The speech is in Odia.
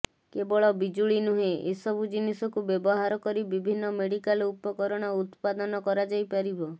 କେବଳ ବିଜୁଳି ନୁହେଁ ଏ ସବୁ ଜିନିଷକୁ ବ୍ୟବହାର କରି ବିଭିନ୍ନ ମେଡିକାଲ ଉପକରଣ ଉତ୍ପାଦନ କରାଯାଇପାରିବ